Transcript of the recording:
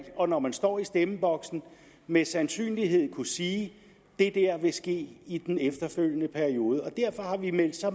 og når man står i stemmeboksen med sandsynlighed kunne sige det der vil ske i den efterfølgende periode derfor har vi meldt så